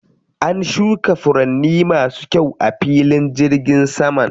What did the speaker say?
An shuka furanni masu kyau a filin jirgin saman.